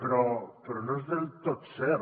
però no és del tot cert